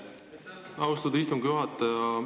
Aitäh, austatud istungi juhataja!